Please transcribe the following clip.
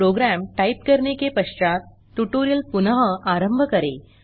programme type करने के पश्चात ट्यूटोरियल पुनः आरंभ करें